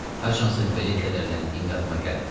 Haçansa belə kədərləndiyim yadıma gəlmirdi.